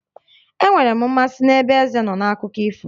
Enwere m mmasị n'ebe eze nọ n'akụkọ ifo